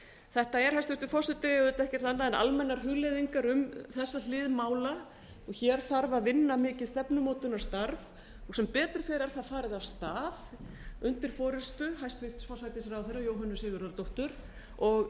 þetta er hæstvirtur forseti auðvitað ekkert annað en almennar hugleiðingar um þessa hlið mála hér þarf að vinna mikið stefnumótunarstarf sem betur fer er það farið af stað undir forustu hæstvirtur forsætisráðherra jóhönnu sigurðardóttur og